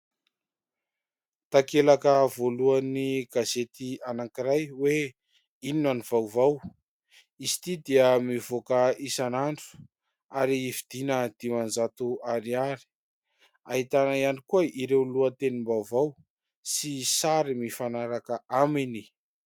Takelaka voalohan'ny gazety anankiray hoe : "Inona ny vaovao ?" Izy ity dia mivoaka isanandro ary vidiana dimanjato ariary. Ahitana ihany koa ireo lohatenim-baovao sy sary mifanaraka aminy.